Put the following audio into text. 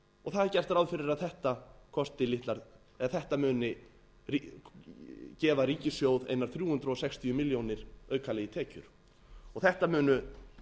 aðrir það er gert ráð fyrir að þetta muni gefa ríkissjóði einar þrjú hundruð sextíu milljónir aukalega í tekjur og þetta munu